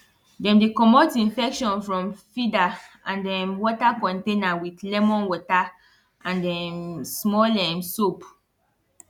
dem dey comot infection from feeder and um water container with lemon water and um small um soap